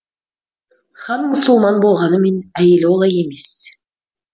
кхан мұсылман болғанымен әйелі олай емес